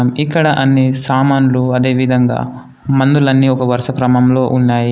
ఇక్కడ అన్ని సామాన్లు అదే విధంగా మందులన్నీ ఒక వరుస క్రమంలో ఉన్నాయి.